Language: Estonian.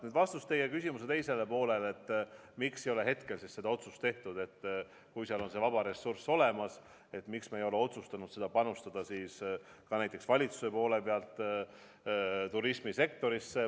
Nüüd vastus teie küsimuse teisele poolele, et miks ei ole hetkel seda otsust tehtud, et kui seal on see vaba ressurss olemas, siis miks valitsus ei ole otsustanud panustada turismisektorisse.